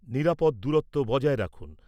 নিরাপদ দূরত্ব বজায় রাখুন।